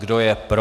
Kdo je pro?